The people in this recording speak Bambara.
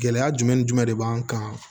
Gɛlɛya jumɛn ni jumɛn de b'an kan